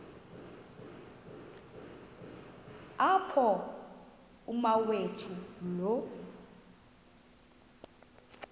apho umawethu lo